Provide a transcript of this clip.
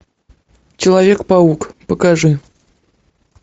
человек паук покажи